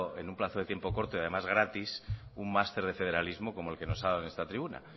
en un plazo de tiempo corto y además gratis un master de federalismo como el que nos ha dado en esta tribuna